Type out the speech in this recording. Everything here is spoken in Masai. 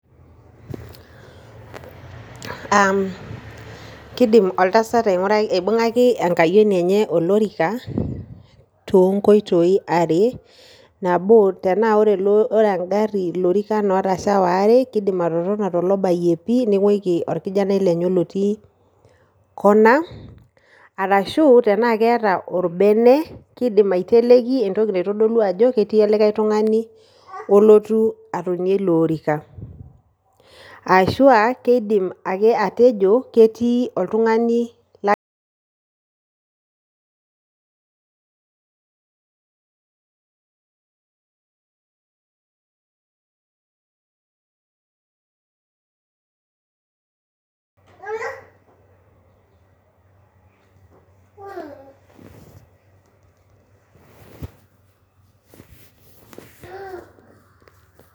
Keidim oltasat ainguraki aibungaki enkayioni enye olorika too nkoitoi are, nabo, tenaa ore engarri lorikan aare ootasha keidim atotona tolobayie pii nengweiki olkijanai lenye olotii kona ,arashuu tenaa keeta olbene keidim aiteleki entoki naitodolu ajo ketii olikae tungani olotu atonie ilo orika, aashu keidim ake atejo ketii oltungani la